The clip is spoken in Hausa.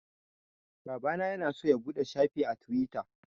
Babana ya na so ya buɗe shafi a Tiwita